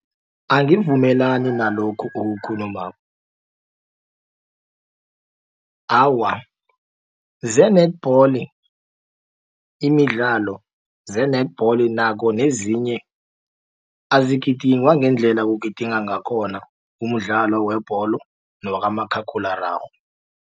Angivumelani nalokho okukhulumako awa ze-netball imidlalo ze-netball nako nezinye azigidingwa ngendlela kugidingwa ngakhona umdlalo webholo newakamakhakhulararhwe.